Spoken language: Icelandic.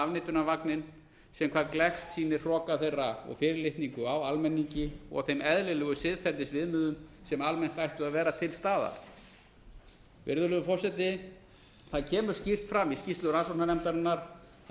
upp í sama afneitunarvagninn sem hvað gleggst sýnir hroka þeirra og fyrirlitningu á almenningi og þeim eðlilegu siðferðisviðmiðum sem almennt ættu að vera til staðar virðulegur forseti það kemur skýrt fram í skýrslu rannsóknarnefndarinnar að